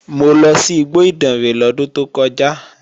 Mo lọ sí igbó Ìdànrè lọ́dún tó kọjá